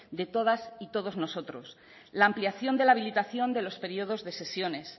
de todas y todos nosotros la ampliación de la habilitación de los periodos de sesiones